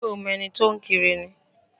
Ṣé o mo ẹni tó ń kiri ni?